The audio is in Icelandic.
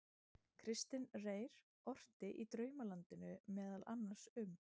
Kristinn Reyr orti í Draumalandinu meðal annars um